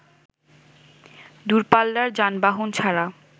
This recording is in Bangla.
দূরপাল্লার যানবাহন ছাড়া